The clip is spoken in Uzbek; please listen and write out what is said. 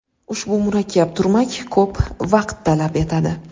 Ushbu murakkab turmak ko‘p vaqt talab etadi.